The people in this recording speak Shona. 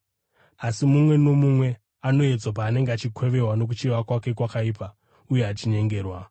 asi mumwe nomumwe anoedzwa paanenge achikwevewa nokuchiva kwake kwakaipa uye achinyengerwa.